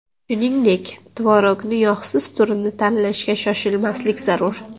Shuningdek, tvorogni yog‘siz turini tanlashga shoshilmaslik zarur.